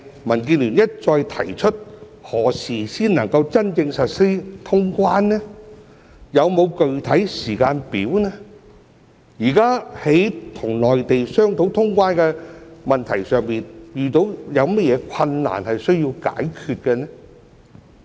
民建聯一再提出何時才能真正實施通關、有否具體時間表？現時在與內地商討通關的問題上，遇到有甚麼困難需要解決呢？